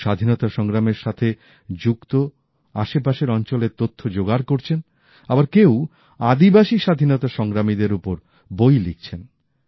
কেউ স্বাধীনতা সংগ্রামের সাথে যুক্ত আশেপাশের অঞ্চলের তথ্য জোগাড় করছেন আবার কেউ আদিবাসী স্বাধীনতা সংগ্রামীদের ওপর বই লিখছে্ন